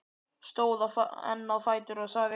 Stóð enn á fætur og sagði: